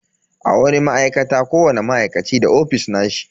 A wani ma'aikata, kowani ma'aikaci da ofis nashi.